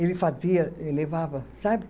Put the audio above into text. Ele fazia, ele levava, sabe?